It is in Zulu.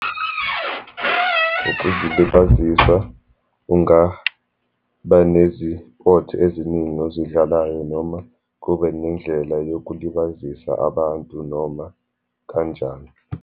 Ukuzilibazisa ungaba nezipothi eziningi ozidlalayo, noma kube nendlela yokulibazisa abantu noma kanjani.